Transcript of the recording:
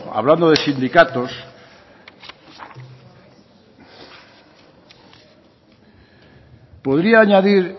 hablando de sindicatos podría añadir